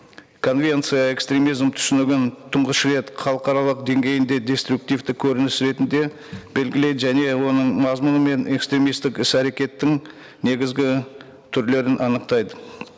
конвенция экстремизм түсінігін тұнғыш рет халықаралық деңгейінде деструктивті көрініс ретінде белгілейді және оның мазмұны мен экстремисттік іс әрекеттің негізгі түрлерін анықтайды